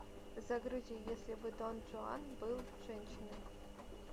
загрузи если бы дон жуан был женщиной